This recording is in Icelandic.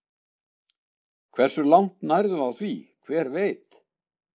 Hversu langt nærðu á því, hver veit?